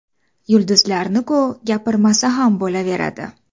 Yulduzlarni-ku gapirmasa ham bo‘laveradi.